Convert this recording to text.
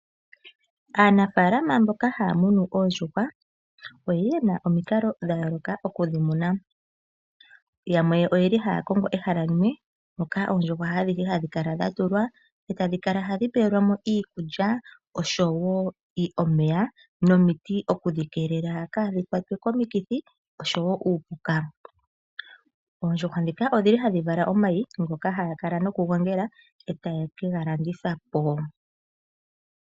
Aanafalama mboka haya munu oondjuhwa oyeli omikalo dha yooloka okudhi muna. Yamwe oyeli haya kongo ehala limwe moka oondjuhwa adhihe hadhi kala dha tulwa etadhi kala hadhi pewelwa mo iikulya oshowo omeya nomiti okudhi keelela kaadhi kwatwe komikithi oshowo kuupuka. Oondjuhwa ndhika odhili hadhi vala omayi ngoka haya kala noku gongela etaye ka ga landitha po.